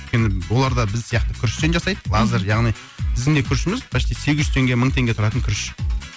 өйткені оларда біз сияқты күріштен жасайды яғни біздің де күрішіміз почти сегіз жүз теңге мың теңге тұратын күріш